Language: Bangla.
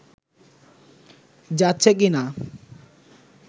যাচ্ছে কি না